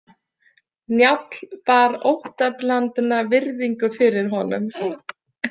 Njáll bar óttablandna virðingu fyrir honum.